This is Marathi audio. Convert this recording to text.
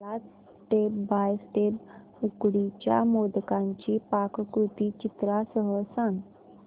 मला स्टेप बाय स्टेप उकडीच्या मोदकांची पाककृती चित्रांसह सांग